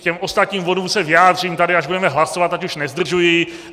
K těm ostatním bodům se vyjádřím tady, až budeme hlasovat, ať již nezdržuji.